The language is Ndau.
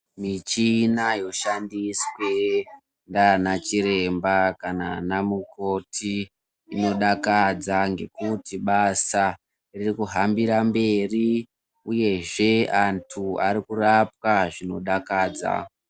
Michhina yoshandiswe ngaana chiremba ana mukoti yodakadza, ngekuti asa riri kuhambira mberi, uyezve anthu ari kurapwa zvinodakadza.